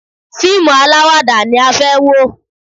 Fíìmù alawada ni a fẹ́ wò.